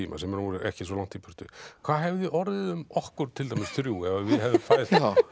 tíma sem er nú ekki svo langt í burtu hvað hefði orðið um okkur til dæmis þrjú ef að við hefðum farið